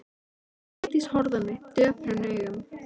Sóldís horfði á mig döprum augum.